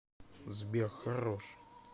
сбер хорош